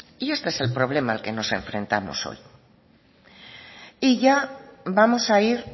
y este es el problema al que nos enfrentamos hoy y ya vamos a ir